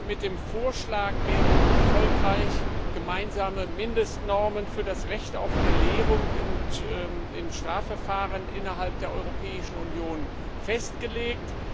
Mit dem Vorschlag werden erfolgreich gemeinsame Mindestnormen für das Recht auf Belehrung und in Strafverfahren innerhalb der Europäischen Union festgelegt.